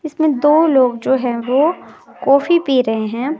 इसमें दो लोग जो हैं वो कॉफी पी रहे हैं।